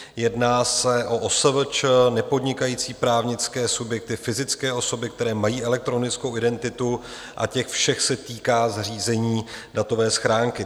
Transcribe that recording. Jedná se o OSVČ, nepodnikající právnické subjekty, fyzické osoby, které mají elektronickou identitu, a těch všech se týká zřízení datové schránky.